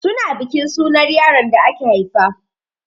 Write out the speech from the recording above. Su na bikin sunar yaron the aka haifa.